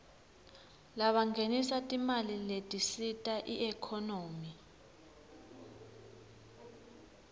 labangenisa timali letisita iekhonomy